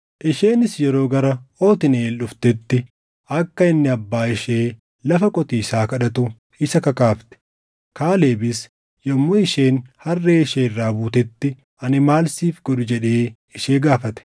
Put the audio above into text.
Isheenis yeroo gara Otniiʼeel dhuftetti akka inni abbaa ishee lafa qotiisaa kadhatu isa kakaafte. Kaalebis yommuu isheen harree ishee irraa buutetti, “Ani maal siif godhu?” jedhee ishee gaafate.